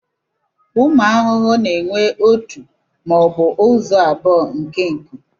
Ụmụ ahụhụ na-enwe ọtu maọbu ụzọ abụọ nke nkụ.